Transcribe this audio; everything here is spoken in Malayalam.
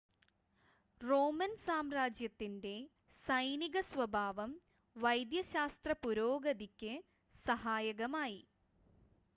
റോമൻ സാമ്രാജ്യത്തിൻ്റെ സൈനിക സ്വഭാവം വൈദ്യശാസ്ത്ര പുരോഗതിക്ക് സഹായകമായി